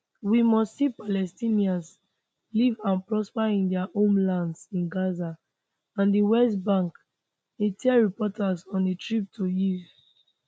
we must see palestinians live and prosper in dia homelands in gaza and di west bank e tell reporters on a trip to kyiv